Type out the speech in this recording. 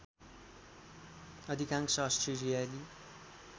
अधिकांश अस्ट्रेलियाली